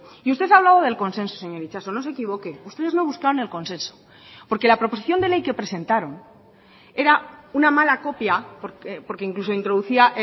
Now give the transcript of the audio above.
y usted ha hablado del consenso señor itxaso no se equivoque ustedes no buscaron el consenso porque la proposición de ley que presentaron era una mala copia porque incluso introducía